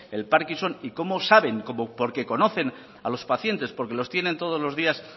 el parkinson y cómo saben porque conocen a los pacientes porque los tienen todos los días